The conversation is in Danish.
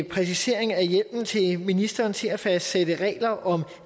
præcisering af hjemmelen til ministeren til at fastsætte regler om